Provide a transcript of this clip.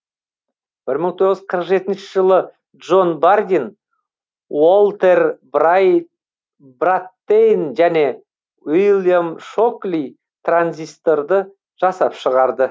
бір мың тоғыз жүз қырық жетінші жылы джон бардин уолтер браттейн және уильям шокли транзисторды жасап шығарды